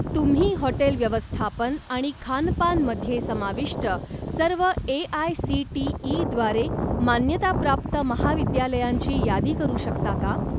तुम्ही हॉटेल व्यवस्थापन आणि खानपान मध्ये समाविष्ट सर्व ए.आय.सी.टी.ई. द्वारे मान्यताप्राप्त महाविद्यालयांची यादी करू शकता का?